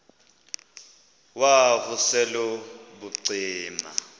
wav usel ubucima